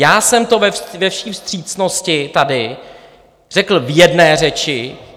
Já jsem to ve vší vstřícnosti tady řekl v jedné řeči.